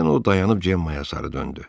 Birdən o dayanıb Cemmaaya sarı döndü.